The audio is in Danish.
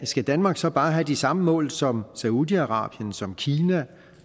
skal danmark så bare have de samme mål som saudi arabien som kina